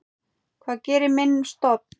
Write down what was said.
Hvað gerir minni stofn?